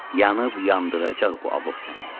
Yanıb yandıracaq bu alov səni.